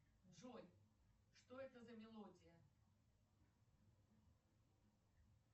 джой что это за мелодия